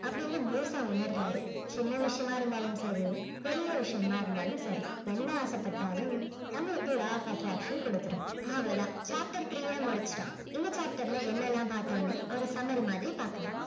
அப்படின்னு முழுசா உணர்றாரு சின்ன விஷயமாக இருந்தாலும் சரி பெரிய விஷயமா இருந்தாலும் சரி என்ன ஆசைப்பட்டாலும் நம்மளுக்கு law of attraction கொடுத்திடும் அவ்வளவு தான் chapter three அ முடிச்சிட்டோம் இந்த chapter ல என்ன எல்லாம் பார்த்தோம்னு ஒரு summary மாதிரி பார்க்கலாம்